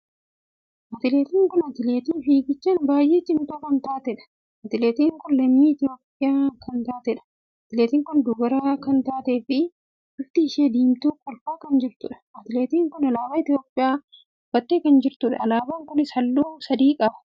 Atileetiin kun atileetii fiigichaan baay'ee cimtuu kan taateedha. atileetiin kun lammii Itoophiyaa kan taateedha. atileetiin kun dubara kan taatee fi bifti ishee diimtuu kolfaa kan jirtudha. atileetiin kun alaabaa Itoophiyaa uffattee kan jirtudha. alaabaa kunis halluu sadii qaba.